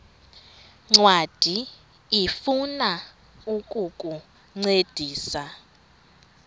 ncwadi ifuna ukukuncedisa